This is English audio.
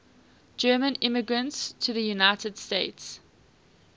german immigrants to the united states